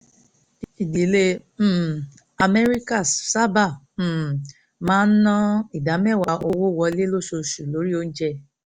ìdílé um amẹ́ríkà sábà um máa ná ná ìdá mẹ́wàá owó wọlé lóṣooṣù lórí oúnjẹ